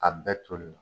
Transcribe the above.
A bɛɛ toli la